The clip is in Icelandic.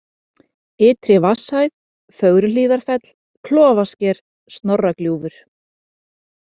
Ytri-Vatnshæð, Fögruhlíðarfell, Klofasker, Snorragljúfur